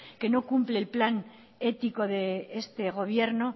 que no cumple el plan ético de este gobierno